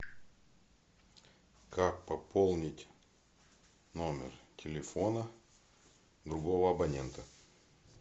как пополнить номер телефона другого абонента